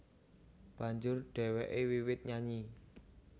Banjur dhèwêké wiwit nyanyi